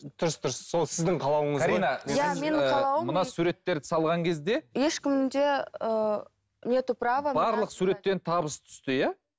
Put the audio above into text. дұрыс дұрыс сол сіздің қалауыңыз ғой мына суреттерді салған кезде ешкімде ыыы нету право барлық суреттен табыс түсті иә